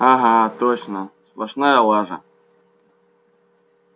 ага точно сплошная лажа